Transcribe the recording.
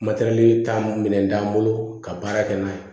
Matɛrɛli taa minɛn t'an bolo ka baara kɛ n'a ye